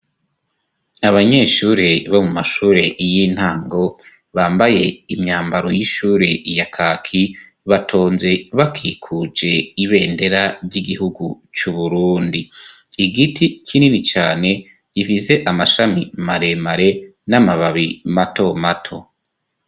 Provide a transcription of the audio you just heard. Abanyeshure bo mu mashure yo intango bambaye imyambaro y'ishure ya kaki batonze bakikuje ibendera ry'igihugu c'uburundi igiti kinini cane gifise amashami maremare n'amababi mato mato.